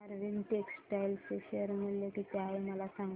Arvind textile चे share मूल्य किती आहे मला सांगा